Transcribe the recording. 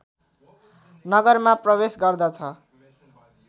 नगरमा प्रवेश गर्दछ